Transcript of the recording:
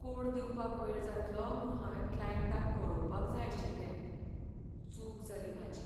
Code दिवपाक वेळ जातलो म्हूण हांवें क्लायंटाक कळोवपाक जाय आशिल्लें, चूक जाली म्हाजी.